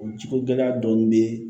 O jiko gɛlɛya dɔɔnin bɛ